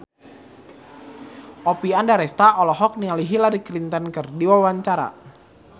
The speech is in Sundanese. Oppie Andaresta olohok ningali Hillary Clinton keur diwawancara